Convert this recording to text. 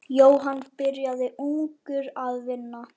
Jóhann byrjaði ungur að vinna.